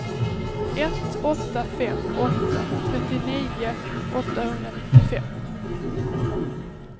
ett åtta fem åtta trettionio åttahundranittiofem